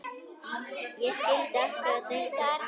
Og skyldi akkúrat engan undra!